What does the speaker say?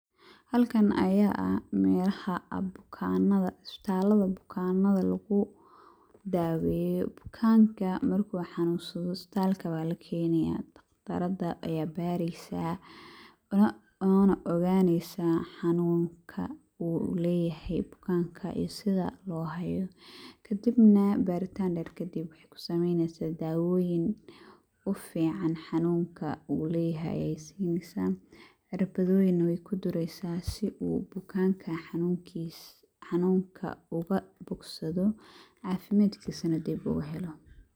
Haalkan aya aah melahaa aad bukanadaa. istabalaada bukanada laguu daweyoo. bukaanka markuu xanunsaado istabaalka waa laa kenayaa dhaqtaraada aya bareysaa oona oganeysaa xanunkaa uu leyahay bukaanka iyo sidaa loo haayo. kadiib naa baritaan dheer kadiib waxey kuu sameyneysaa dawoyiin uu fican xanunkaa uu leyahay ayeey sineysaa. cirbadoyiin naa weykuu dureeysa sii uu bukankaa xanunkiisa xanunkaa oga bogsaado cafimaadkisina diib uu heelo.